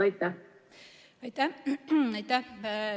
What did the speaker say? Aitäh!